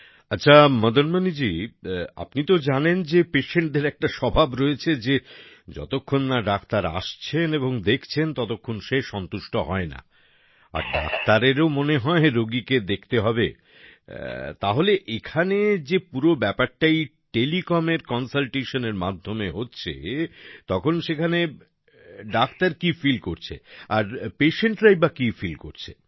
আচ্ছা মদনমণি জি আপনি তো জানেন যে patientদের একটা স্বভাব রয়েছে যে যতক্ষণ না ডাক্তার আসছেন এবং দেখছেন ততক্ষণ সে সন্তুষ্ট হয় না আর ডাক্তারেরও মনে হয় রোগীকে দেখতে হবে তাহলে এখানে যে পুরো ব্যাপারটাই Telecomএর Consultationএর মাধ্যমে হচ্ছে তখন সেখানে ডাক্তার কি ফিল করছে patientটি বা কি ফিল হচ্ছে